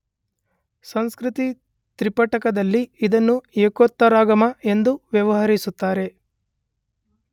ಸಂಸ್ಕೃತ ತ್ರಿಪಿಟಕದಲ್ಲಿ ಇದನ್ನು ಏಕೋತ್ತರಾಗಮ ಎಂದು ವ್ಯವಹರಿಸುತ್ತಾರೆ.